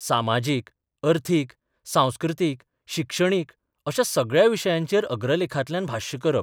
सामाजीक, अर्थीक, सांस्कृतीक, शिक्षणीक अश्या सगळ्या विशयांचेर अग्रलेखांतल्यान भाश्य करप.